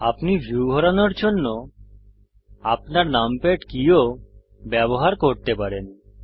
আপনি ভিউ ঘোরানোর জন্য আপনার নামপ্যাড কী ও ব্যবহার করতে পারেন